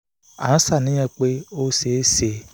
à ń ṣàníyàn pé ó ṣeé ṣe kó ní àrùn dvt (deep vein thrombosis)